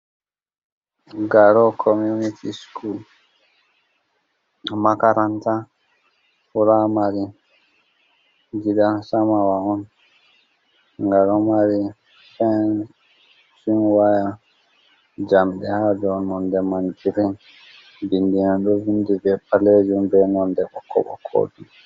Garo komuniti skul. Makaranta furamari, gidan samawa on. Nga ɗo mari fens waya jamdi ha डाउ nonde man girin ɗo vindi be palejum, be nonde ɓokko ɓokko.